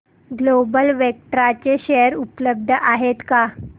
global Vectra चे share उपलब्ध आहेत का